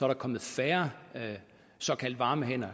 der kommet færre såkaldte varme hænder